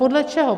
Podle čeho?